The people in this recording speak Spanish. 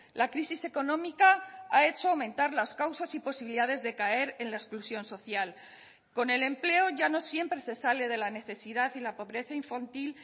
la crisis económica ha hecho aumentar las causas y posibilidades de caer en la exclusión social con el empleo ya no siempre se sale de la necesidad y la pobreza infantil